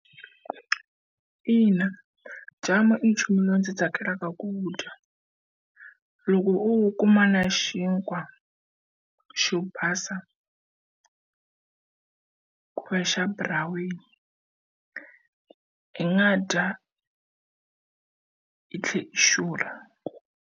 Ina jamu i nchumu lowu ndzi tsakelaka ku dya. Loko o wu kuma na xinkwa xo basa koxa buraweni, i nga dya i tlhela i xurha.